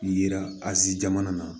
Yira azi jamana na